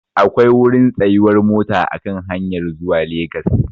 Akwai wurin tsayuwar mota a kan hanyar zuwa Legas.